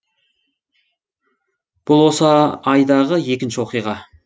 бұл осы айдағы екінші оқиға